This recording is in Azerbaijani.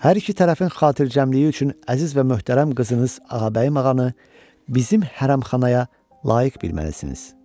Hər iki tərəfin xatircəmliyi üçün əziz və möhtərəm qızınız Ağabəyim ağanı bizim hərəmxanaya layiq bilməlisiniz.